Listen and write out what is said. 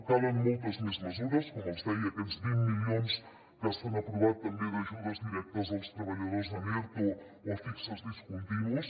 calen moltes més mesures com els deia aquests vint milions que s’han aprovat també d’ajudes directes als treballadors en erto o a fixes discontinus